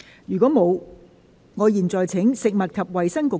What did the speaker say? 如果沒有，我現在請食物及衞生局局長答辯。